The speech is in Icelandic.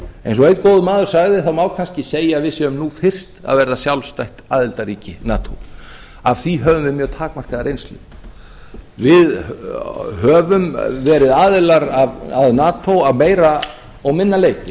eins og einn góður maður sagði það má kannski segja að við séum nú fyrst að verða sjálfstætt aðildarríki nato af því höfum við mjög takmarkaða reynslu við höfum verið aðilar að nato að meira og minna leyti